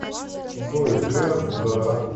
джой д да